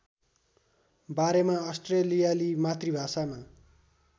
बारेमा अस्ट्रेलियाली मातृभाषामा